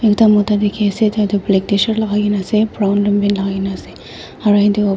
ekta mota dikey ase tai tu black tshirt lagai kena ase brown long pant lai kai kena ase aro --